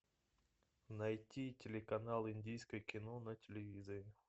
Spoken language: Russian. найти телеканал индийское кино на телевизоре